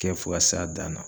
Kɛ fo k'a s'a dan na